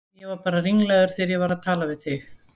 Ég var bara ringlaður þegar ég var að tala við þig.